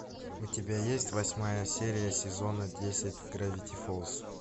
у тебя есть восьмая серия сезона десять гравити фолз